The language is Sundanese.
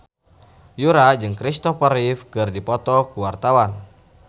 Yura jeung Christopher Reeve keur dipoto ku wartawan